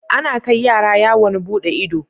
Ana kai yara yawon buɗe ido